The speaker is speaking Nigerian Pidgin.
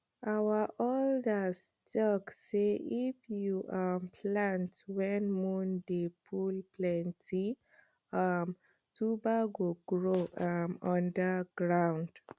our elders talk sey if you um plant when moon dey full plenty um tuber go grow um under ground